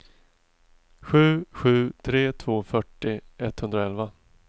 sju sju tre två fyrtio etthundraelva